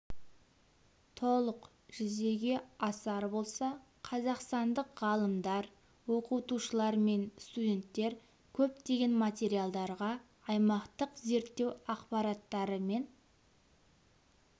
толық жүзеге асар болса қазақстандық ғалымдар оқытушылар мен студенттер көптеген материалдарға аймақтық зерттеу ақпараттары мен